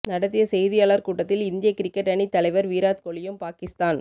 நடத்திய செய்தியாளர் கூட்டத்தில் இந்திய கிரிக்கெட் அணித் தலைவர் விராத் கோஹ்லியும் பாகிஸ்தான்